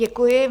Děkuji.